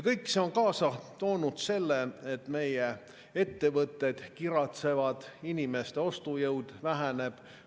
Kõik see on kaasa toonud selle, et meie ettevõtted kiratsevad ja inimeste ostujõud väheneb.